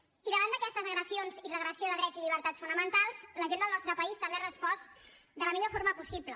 i davant d’aquestes agressions i regressió de drets i llibertats fonamentals la gent del nostre país també ha respost de la millor forma possible